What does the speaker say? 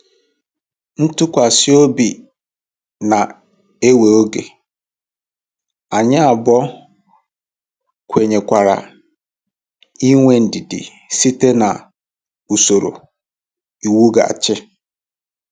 Ntụkwasị obi na-ewe oge, anyị abụọ kwenyekwara inwe ndidi site na usoro iwughachi.